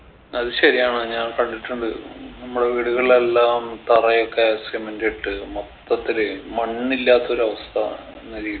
അത് ശരിയാണ് ഞാൻ കണ്ടിട്ടുണ്ട് ഉം നമ്മളെ വീടുകളിലെല്ലാം തറയൊക്കെ cement ഇട്ട് മൊത്തത്തില് മണ്ണില്ലാത്തൊരവസ്ഥ എന്ന രീതി